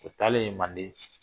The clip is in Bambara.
O taalen manden.